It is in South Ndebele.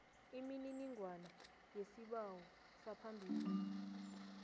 imininingwana yesibawo saphambilini